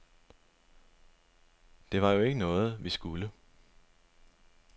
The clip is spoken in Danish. Det var jo ikke noget, vi skulle.